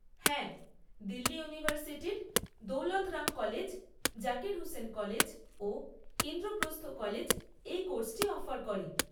হ্যাঁ, দিল্লী ইউনিভার্সিটির Daulat Ram college, Zakir Hussain college ও ইন্দ্রপ্রস্থ কলেজ এই কোর্সটি অফার করে।